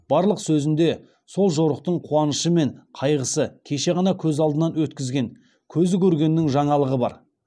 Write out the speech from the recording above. барлық сөзіңде сол жорықтың куанышы мен кайғысы кеше ғана көз алдынан өткізген кезі көргеннің жаңалығы бар